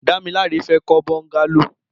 Damilola fè kọ bọngàló